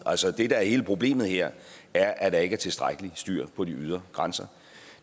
altså det der er hele problemet her er at der ikke er tilstrækkelig styr på de ydre grænser